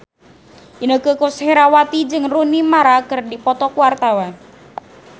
Inneke Koesherawati jeung Rooney Mara keur dipoto ku wartawan